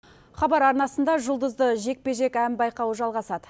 хабар арнасында жұлдызды жекпе жек ән байқауы жалғасады